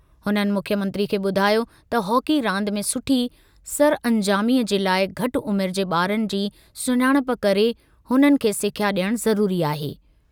हुननि मुख्यमंत्री खे ॿुधायो त हॉकी रांदि में सुठी सरअंजामीअ जे लाइ घटि उमिरि जे ॿारनि जी सुञाणप करे हुननि खे सिख्या डि॒यणु ज़रूरी आहे।